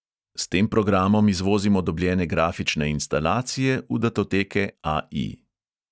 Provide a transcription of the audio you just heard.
S tem programom izvozimo dobljene grafične instalacije v datoteke AI.